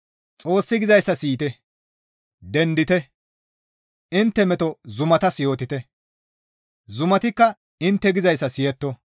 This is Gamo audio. Xoossi gizayssa siyite; «Dendite! Intte meto zumatas yootite; zumatikka intte gizayssa siyetto.